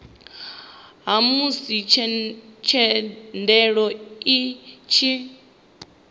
ha musi thendelo i tshi